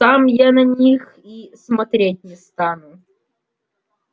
сам я на них и смотреть не стану